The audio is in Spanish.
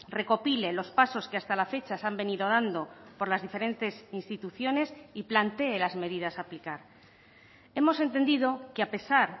recopile los pasos que hasta la fecha se han venido dando por las diferentes instituciones y plantee las medidas a aplicar hemos entendido que a pesar